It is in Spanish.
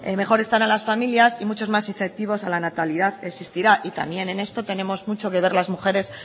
mejor estarán las familias y muchos más efectivos a la natalidad existirán y también en esto tenemos mucho que ver las mujeres